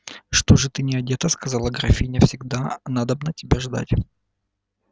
что же ты не одета сказала графиня всегда надобно тебя ждать